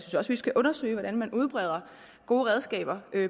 også vi skal undersøge hvordan man udbreder gode redskaber